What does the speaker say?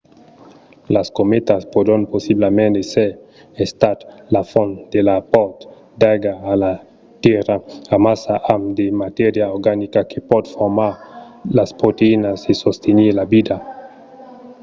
las cometas pòdon possiblament èsser estat la font de l'apòrt d'aiga a la tèrra amassa amb de matèria organica que pòt formar las proteïnas e sostenir la vida